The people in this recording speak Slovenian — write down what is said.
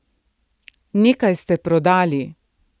Nekaj ste prodali.